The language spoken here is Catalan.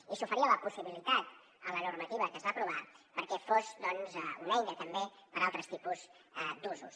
i s’oferia la possibilitat en la normativa que es va aprovar perquè fos doncs una eina també per a altres tipus d’usos